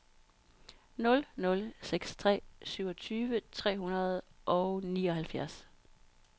nul nul seks tre syvogtyve tre hundrede og nioghalvfjerds